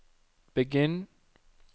begynn